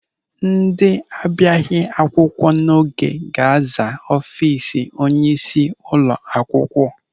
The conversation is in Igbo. Ndị abịaghị akwụkwọ n'oge ga-aza ọfiisi onyeisi ụlọ akwụkwọ.